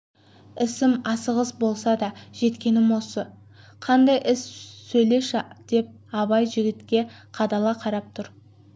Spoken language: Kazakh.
ісім асығыс болса да жеткенім осы қандай іс сөйлеші деп абай жігітке қадала қарап тұр